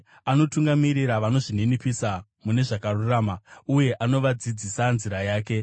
Anotungamirira vanozvininipisa mune zvakarurama, uye anovadzidzisa nzira yake.